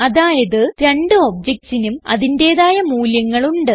അതായത് രണ്ട് objectsനും അതിന്റേതായ മൂല്യങ്ങൾ ഉണ്ട്